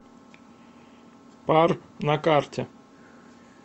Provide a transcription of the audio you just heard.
пар на карте